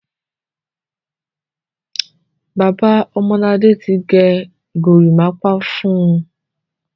Bàbá Ọmọladé ti gẹ gorímápá fún un.